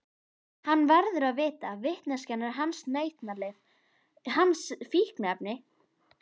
Hann verður að vita, vitneskjan er hans nautnalyf, hans fíkniefni.